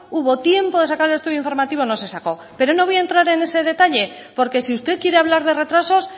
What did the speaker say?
hubo tiempo de sacar el estudio informativo no se sacó pero no voy a entrar en ese detalle porque si usted quiere hablar de retrasos